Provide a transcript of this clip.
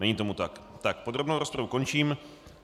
Není tomu tak, podrobnou rozpravu končím.